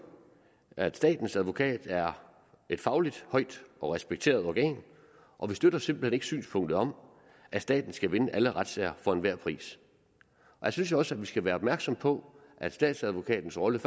at statens advokat er et fagligt højt respekteret organ og vi støtter simpelt hen ikke synspunktet om at staten skal vinde alle retssager for enhver pris jeg synes jo også vi skal være opmærksomme på at statsadvokatens rolle